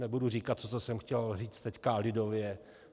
Nebudu říkat to, co jsem chtěl říct teď lidově.